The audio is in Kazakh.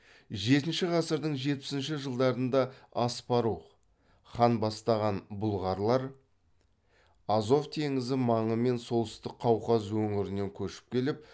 жетінші ғасырдың жетпісінші жылдарында аспарух хан бастаған бұлғарлар азов теңізі маңы мен солтүстік қауқаз өңірінен көшіп келіп